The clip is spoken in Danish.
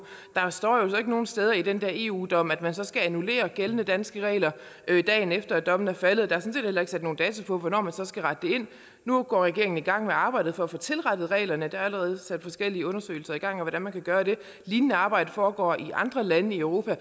der står jo ikke nogen steder i den eu dom at man så skal annullere gældende danske regler dagen efter at dommen er faldet der er sådan set heller ikke sat nogen dato på hvornår man så skal rette det ind nu går regeringen i gang med arbejdet for at få tilrettet reglerne og der er allerede sat forskellige undersøgelser i gang om hvordan man kan gøre det et lignende arbejde foregår i andre lande i europa og